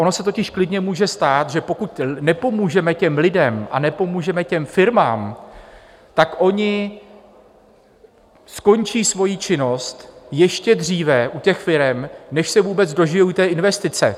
Ono se totiž klidně může stát, že pokud nepomůžeme těm lidem a nepomůžeme těm firmám, tak oni skončí svoji činnost ještě dříve u těch firem, než se vůbec dožijí té investice.